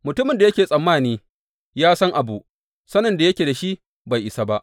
Mutumin da yake tsammani ya san abu, sanin da yake da shi bai isa ba.